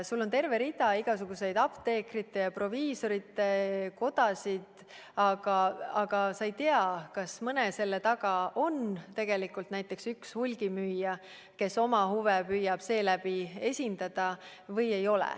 Meil on terve rida apteekrite ja proviisorite kodasid, aga me ei tea, kas mõne sellise ühenduse taga on tegelikult näiteks üks hulgimüüja, kes püüab oma huve esindada.